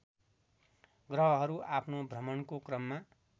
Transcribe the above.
ग्रहहरू आफ्नो भ्रमणको क्रममा